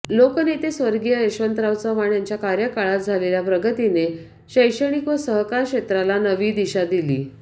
लोकनेते स्वर्गीय यशवंतराव चव्हाण याच्या कार्यकाळात झालेली प्रगतीने शैक्षणिक व सहकार क्षेत्राला नवी दिशा दिली